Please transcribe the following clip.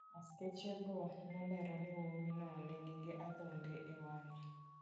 Askechego nolerone ni wuowino ne nigi adhonde e wang'e.